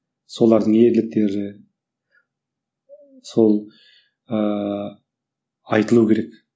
солардың ерліктері сол ыыы айтылу керек